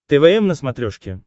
твм на смотрешке